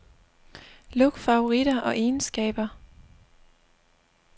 Luk favoritter og egenskaber.